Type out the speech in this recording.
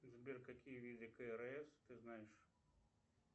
сбер какие виды крс ты знаешь